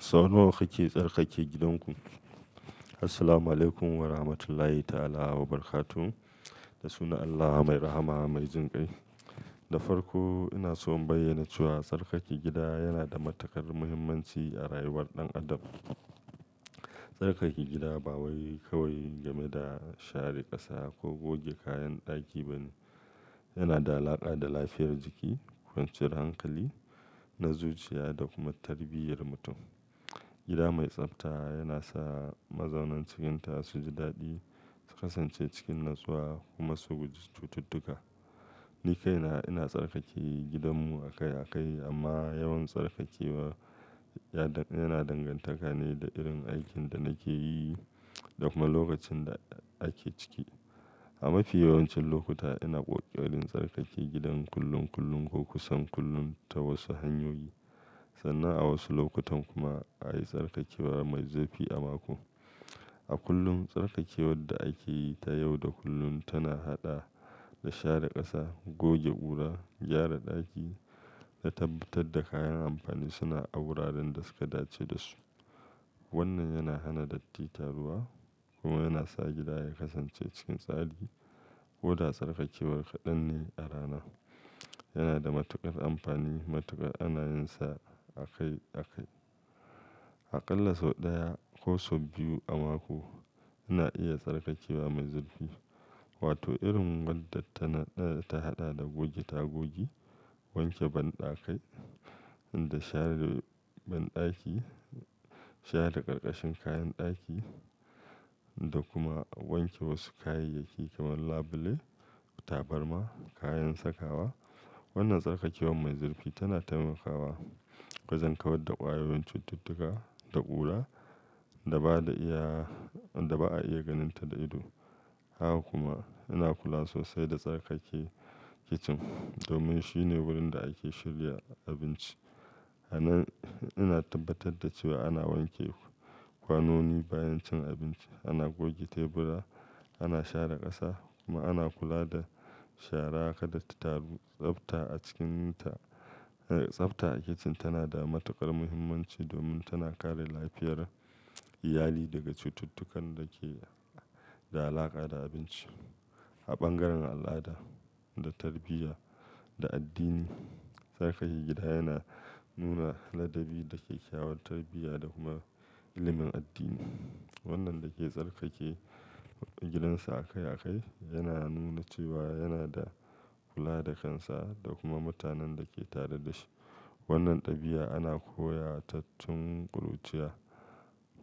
Sau nawa kake tsarkake gidanku? Assalamualaikum Warahmatullahi Ta'ala Wabarakatuh. Da sunan Allah Mai Rahama Mai Jinƙai. Da farko ina so in bayyana cewa tsarkake gida yana da matuƙar muhimmanci a rayuwar ɗan adam. Tsarkake gida ba wai kawai game da share ƙasa ko goge kayan ɗaki ba ne. Yana da alaƙa da lafiyar jiki, kwanciyar hankali, na zuciya da kuma tarbiyyar mutum. Gida mai tsafta yana sa mazaunan cikinta su ji daɗi, su kasance cikin natsuwa kuma su guji cututtuka. Ni kaina ina tsarkake gidanmu akai akai amma yawan tsarkakewa yana dangantaka ne da irin aikin da nake yi da kuma lokacin da ake ciki. A mafi yawancin lokuta ina ƙoƙarin tsarkake gidan kullum kullum ko kusan kullum ta wasu hanyoyi. Sannan a wasu lokutan kuma ayi tsarkakewa mai zurfi a mako. A kullum, tsarkakewar da ake yi ta yau da kullun tana haɗa da share ƙasa, goge ƙura, gyara ɗaki da tabbatar da kayan amfani suna a wuraren da suka dace da su. Wannan yana hana datti taruwa kuma yana sa gida ya kasance cikin tsari. Koda tsarkakewar kaɗan ne a rana. Yana da matuƙar amfani matuƙar ana yinsa akai akai. Aƙalla sau ɗaya ko sau biyu a mako ina iya tsarkakewa mai zurfi wato irin wadda tana, ta haɗa da goge tagogi, wanke banɗakai da share banɗaki, share ƙarƙashin kayan ɗaki da kuma wanke wasu kayayyaki kamar labule, tabarma, kayan sakawa. Wannan tsarkakewan mai zurfi tana taimakawa wajen kawar da ƙwayoyin cututtuka da ƙura da ba da iya, da ba a iya ganinta da ido. Haka kuma ina kula sosai da tsarkake kicin domin shine wurin da ake shirya abinci. A nan ina tabbatar da cewa ana wanke kwanoni bayan cin abinci, ana goge tebura, ana share ƙasa kuma ana kula da shara kada ta taru. Tsafta a cikin ta, tsafta a kicin tana da matuƙar muhimmanci domin tana kare lafiyar iyali daga cututtukan da ke da alaƙa da abinci. A bangaren al'ada da tarbiyya da addini, tsarkake gida yana nuna ladabi da kyakkyawar tarbiyya da kuma ilimin addini. Wannan da ke tsarkake gidansa akai akai yana nuna cewa yana da kula da kansa da kuma mutanen da ke tare da shi. Wannan ɗabi'a ana koya ta tun ƙuruciya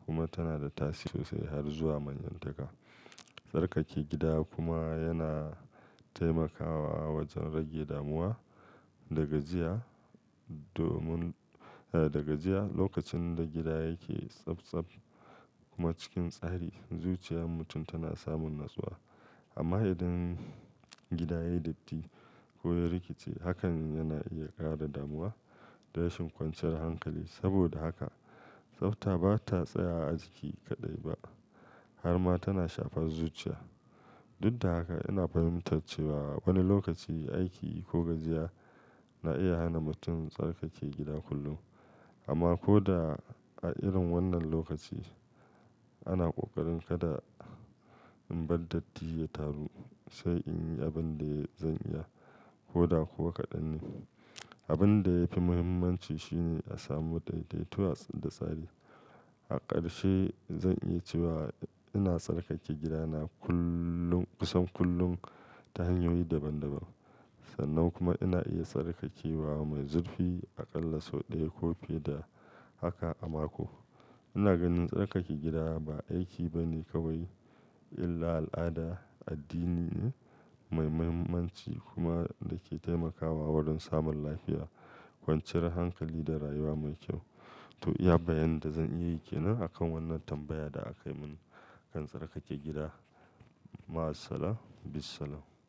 kuma tana da tasiri sosai har zuwa manyantaka. Tsarkake gida kuma yana taimakawa wajen rage damuwa da gajiya domin, eh, da gajiya. Lokacin da gida yake tsaftsaf kuma cikin tsari, zuciyan mutum tana samun natsuwa. Amma idan gida yai datti ko ya rikice hakan yana iya ƙara damuwa da rashin kwanciyar hankali. Saboda haka tsafta ba ta tsaya a jiki kaɗai ba har ma tana shafar zuciya. Duk da haka ina fahimtar cewa wani lokaci aiki ko gajiya na iya hana mutum tsarkake gida kullum. Amma ko da a irin wannan lokaci ana ƙoƙarin kada in bar datti ya taru sai in yi abin da zan iya. Ko da kuwa kaɗan ne. Abun da yafi muhimmanci shine a samu ɗaiɗaituwa da tsari. A ƙarshe zan yi cewa ina tsarkake gidana kullum kusan kullum ta hanyoyi daban daban. Sannan kuma ina iya tsarkakewa mai zurfi aƙalla sau ɗaya ko fi da haka a mako. Ina ganin tsarkake gida ba aiki ba ne kawai illa al'ada addini ne mai muhimmanci kuma da ke taimakawa wurin samun lafiya, kwanciyar hankali da rayuwa mai kyau. To iya bayanin da zan iya yi ke nan akan wannan tambaya da akai mun kan tsarkake gida. Ma'as-salam, Bis-salam.